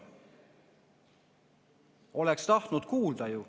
Oleks tahtnud kuulda.